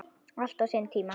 Allt á sinn tíma.